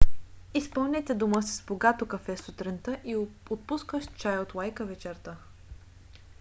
изпълнете дома си с богато кафе сутринта и отпускащ чай от лайка вечерта